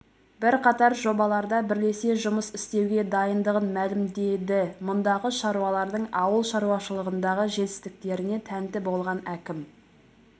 бірқатар жобаларда бірлесе жұмыс істеуге дайындығын мәлімдеді мұндағы шаруалардың ауыл шаруашылығындағы жетістіктеріне тәнті болған әкім